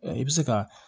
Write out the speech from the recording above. I bɛ se ka